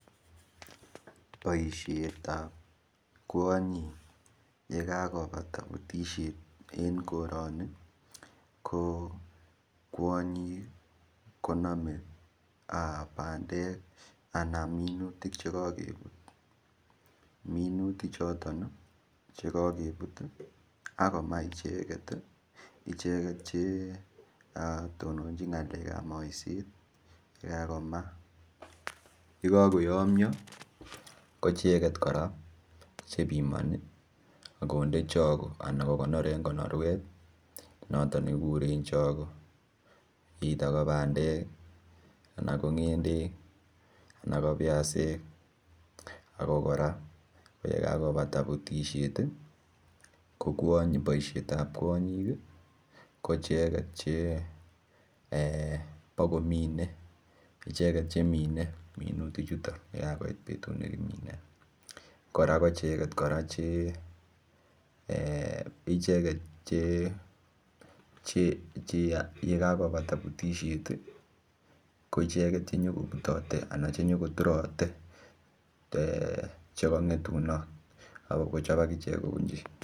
Boisiet ab kwanyiik ye kakobata butisiet eng korani ii ko kwanyiik koname pandeek anan minutiik che kakebuut minutik chotoon chekakebuut akomaach ichegeet che tononjiin ngalek ab maiseet ye kakemaah ye kakoyamyaa ko ichegeet kora che bimani konde chagoo anan ko konor eng chagoo [either] ko pandeek, anan ko ngendek anan ko biasik ako koraye kakobata butisiet ko boisiet ab kwanyiik ko ichegeet che mine minutiik chutoon ye kakoit betut nekimine ichegeet kora che eeh ichegeet che che ye kakobata butisiet ichegeet che nyo kotareteen che kangetunaat akochaap agicheek kobunjii.